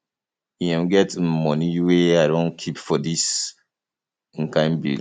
e um get um money wey i don keep for dis um kin bill